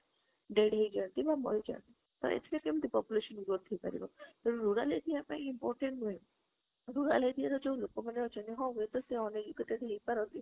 dead ହେଇ ଯାନ୍ତି ବା ମାରି ଯାନ୍ତି ତ ଏଇ ଥିରେ କେମିତି population ଗ୍ରୋଥ ହେଇ ପାରିବ, ତେଣୁ rural area ପାଇଁ important ନୁହେ rural area ରେ ଯୋଉ ଲୋକ ମାନେ ଅଛନ୍ତି ହଁ ହେଇ ପରେ ସେମାନେ uneducated ହେଇ ପାରନ୍ତି